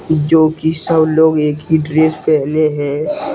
जोकि सब लोग एक ही ड्रेस पहने हैं।